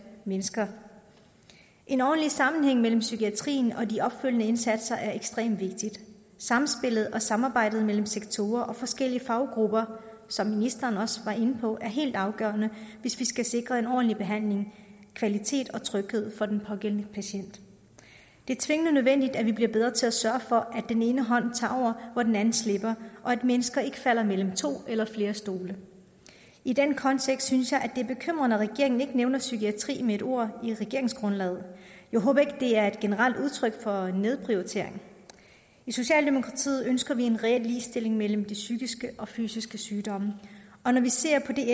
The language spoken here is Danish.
mennesker en ordentlig sammenhæng mellem psykiatrien og de opfølgende indsatser er ekstremt vigtig samspillet og samarbejdet mellem sektorer og forskellige faggrupper som ministeren også var inde på helt afgørende hvis vi skal sikre en ordentlig behandling kvalitet og tryghed for den pågældende patient det er tvingende nødvendigt at vi bliver bedre til at sørge for at den ene hånd tager over hvor den anden slipper og at mennesker ikke falder mellem to eller flere stole i den kontekst synes jeg at det er bekymrende at regeringen ikke nævner psykiatrien med ét ord i regeringsgrundlaget jeg håber ikke det er et generelt udtryk for en nedprioritering i socialdemokratiet ønsker vi en reel ligestilling mellem de psykiske og fysiske sygdomme og når vi ser på det